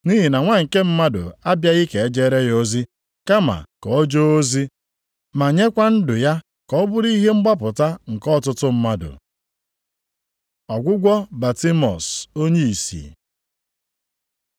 Nʼihi na Nwa nke Mmadụ abịaghị ka e jeere ya ozi. Kama ka o jee ozi ma nyekwa ndụ ya ka ọ bụrụ ihe mgbapụta nke ọtụtụ mmadụ.” Ọgwụgwọ Batimiọs onyeisi